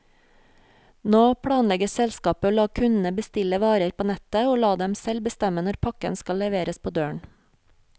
Nå planlegger selskapet å la kundene bestille varer på nettet, og la dem selv bestemme når pakken skal leveres på døren.